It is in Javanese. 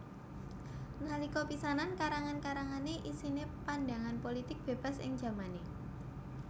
Nalika pisanan karangan karangané isine pandangan pulitik bebas ing jamané